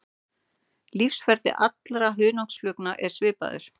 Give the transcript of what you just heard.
Lífsferill allra hunangsflugna er svipaður.